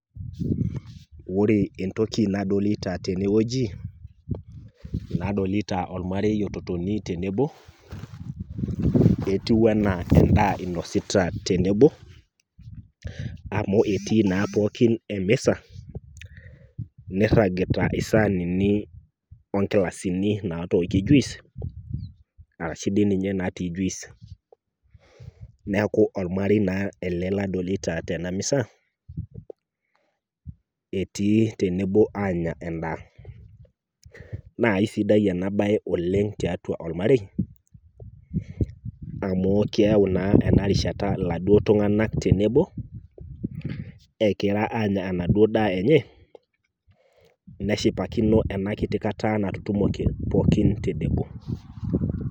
Wore entoki nadolita tenewoji, nadolita olmarei ototoni tenebo, etiu enaa endaa inosita tenebo, amu etii naa pookin emisa, nirragita isaanini ogilasini naatokie juice, arashu dii ninye naatii juice. Neeku olmarei naa ele ladolita tena misa, etii tenebo aanya endaa. Naa aisidai ena bae oleng' tiatua olmarei, amu keyau naa ena rishata iladuo tunganak tenebo, ekira aanya enaduo daa enye, neshipakino enakiti kata natutumote pookin tenebo.